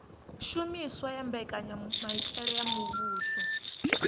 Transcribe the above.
shumiswa ha mbekanyamitele ya muvhuso